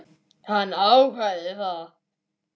Hann ákvað það.